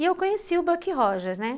E eu conheci o Buck Rogers, né?